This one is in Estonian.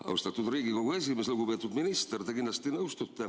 Austatud Riigikogu esimees!